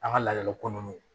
An ka laadala ko nunnu